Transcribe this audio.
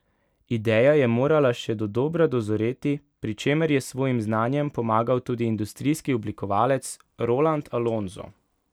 Ideja je morala še dodobra dozoreti, pri čemer je s svojim znanjem pomagal tudi industrijski oblikovalec Roland Alonzo.